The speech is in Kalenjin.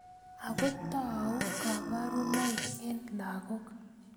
Ako tou kabarunoik eng lakok.